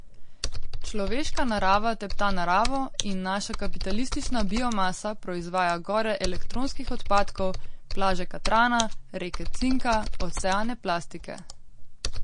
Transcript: Človeška narava tepta naravo in naša kapitalistična biomasa proizvaja gore elektronskih odpadkov, plaže katrana, reke cinka, oceane plastike.